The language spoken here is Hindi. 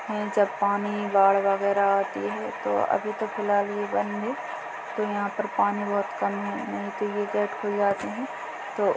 जब पानी बाढ़ वगैरा आती है तो अभी तो फिलहाल ये बंद है तो यहाँ पर पानी बहुत कम है नहीं तो ये गेट खुल जाते है तो --